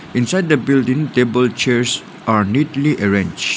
inside the building table chairs are neatly arranged.